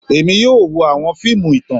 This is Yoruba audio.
Èmi yóò wo àwọn fiimu ìtàn